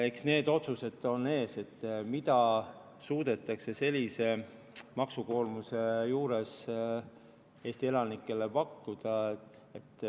Eks need otsused, mida suudetakse sellise maksukoormuse juures Eesti elanikele pakkuda, on ees.